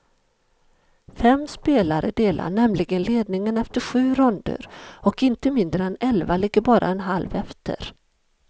Fem spelare delar nämligen ledningen efter sju ronder, och inte mindre än elva ligger bara en halv efter.